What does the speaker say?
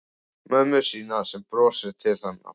Mömmu sína sem brosir til hennar.